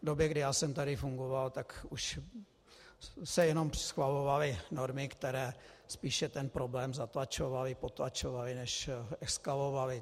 V době, kdy já jsem tady fungoval, tak už se jenom schvalovaly normy, které spíše ten problém zatlačovaly, potlačovaly než eskalovaly.